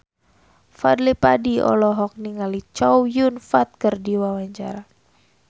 Fadly Padi olohok ningali Chow Yun Fat keur diwawancara